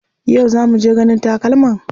Yau za muje ganin takalman?